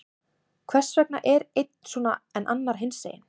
Hvers vegna er einn svona, en annar hinsegin?